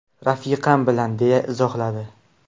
Rafiqam bilan”, deya izohladi.